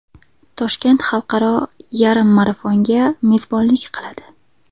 Toshkent Xalqaro yarim marafonga mezbonlik qiladi.